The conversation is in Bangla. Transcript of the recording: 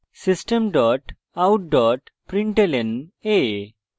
system dot out dot println a;